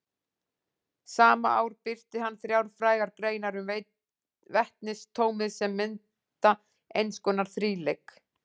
Sama ár birti hann þrjár frægar greinar um vetnisatómið sem mynda eins konar þríleik.